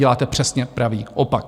Děláte přesně pravý opak.